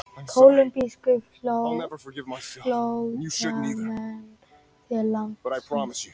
Kólumbískir flóttamenn til landsins